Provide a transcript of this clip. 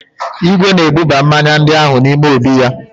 Igwe na-ebuba mmanya ndị ahụ n'ime obí ya.